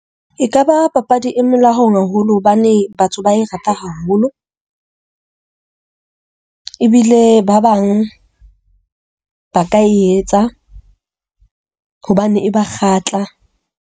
Ekaba papadi e molaong haholo hobane batho ba e rata haholo. Ebile ba bang ba ka e etsa hobane e ba kgatla.